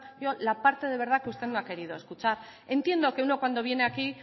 yo la parte de verdad que usted no ha querido escuchar entiendo que uno cuando viene aquí